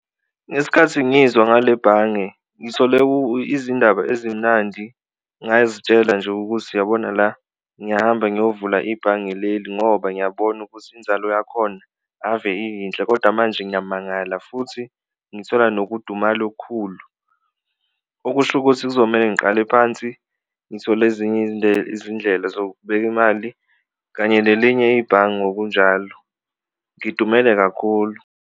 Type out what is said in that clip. Ngesikhathi ngizwa ngale bhange ngithole izindaba ezimnandi ngazitshela nje ukuthi uyabona la ngiyahamba ngiyovula ibhange leli ngoba ngiyabona ukuthi inzalo yakhona ave iyinhle, koda manje ngiyamangala futhi ngithola nokudumala okukhulu. Okusho ukuthi kuzomele ngiqale phansi ngithole ezinye izindlela zokubeka imali kanye lelinye ibhange ngokunjalo, ngidumele kakhulu.